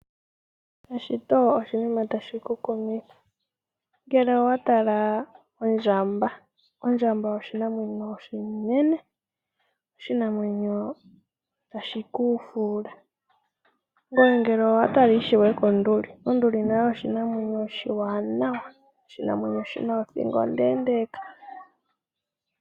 Eshito oshinima tashi ku kumitha. Ngele owa tala ondjamba, ondjamba oshinamwenyo oshinene, oshinamwenyo tashi ku fuula. Ngoye ngele owa tala ishewe konduli nayo oshinamwenyo oshiwanawa, oshinamwenyo shi na othingo ondeendeeka.